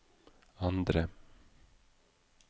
andre